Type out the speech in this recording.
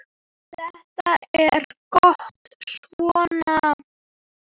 Þetta er gott svona.